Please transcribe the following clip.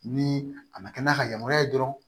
Ni a ma kɛ n'a ka yamaruya ye dɔrɔn